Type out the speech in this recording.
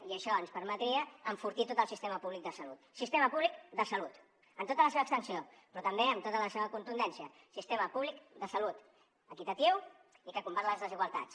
i això ens permetria enfortir tot el sistema públic de salut sistema públic de salut en tota la seva extensió però també amb tota la seva contundència sistema públic de salut equitatiu i que combat les desigualtats